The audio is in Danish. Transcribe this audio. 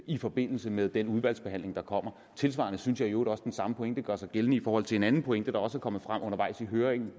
i forbindelse med den udvalgsbehandling der kommer tilsvarende synes jeg i øvrigt også at den samme pointe gør sig gældende i forhold til en anden pointe der også er kommet frem undervejs i høringen og